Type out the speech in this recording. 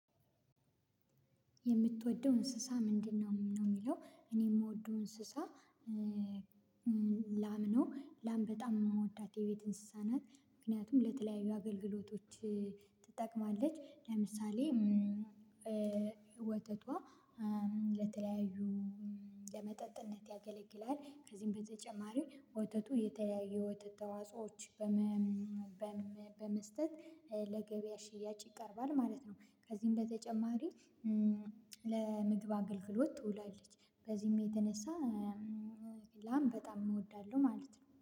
የምትወደው እንስሳ ምንድነው? ነው የሚለው እኔ የምወደው እንስሳ። ላም ነው ላም በጣም የምወዳት የቤት እንስሳ ናት ምክንያቱም ለተለያዩ አገልግሎቶች ትጠቅማለች። ለምሳሌ ወተቷ ለተለያዩ ለመጠጥነት ያገለግላል። ከዚህም በተጨማሪ ወተቱ የተለያዩ የወተት ተዋጾዎች በመስጠት ለገበያ ሽያጭ ይቀርባል ማለት ነው። ከዚህም በተጨማሪ ለምግብ አገልግሎት ትውላለች። በዚህም የተነሳ ላም በጣም እወዳለሁ ማለት ነው